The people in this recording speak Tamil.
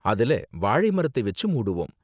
அதுல வாழை மரத்தை வெச்சு மூடுவோம்.